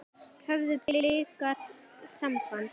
Höfðu Blikar samband?